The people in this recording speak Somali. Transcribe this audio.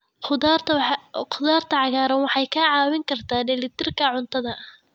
Khudaarta cagaaran waxay kaa caawin kartaa dheelitirka cuntada.